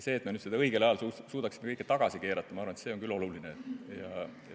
See, et me nüüd suudaksime seda kõike õigel ajal tagasi keerata – ma arvan, et see on küll oluline.